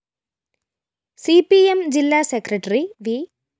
C P M ജില്ലാ secretary V